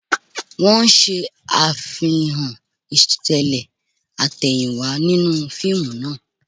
Wọ́n ń ṣe Àfihàn ìṣẹ̀lẹ̀ àtẹ̀yìnwá nínú fíìmù náà